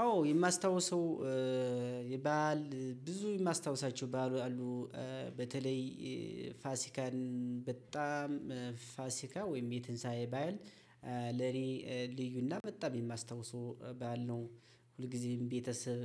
አዎ የማስታውሰው የበአል ብዙ የማስታውሳቸው በዓሎች አሉ። በተለይ ፋሲካን በጣም ፋሲካ ወይም የትንሳኤ በዓል ለኔ ልዩና በጣም የማስታውሰው በዓል ነው። ሁልጊዜም ቤተሰብ